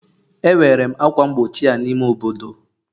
Ewere m ákwà mgbochi a n'ime obodo